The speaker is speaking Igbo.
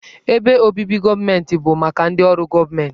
Ebe obibi ndị gọọmentị bụ maka ndị ọrụ gọọmentị.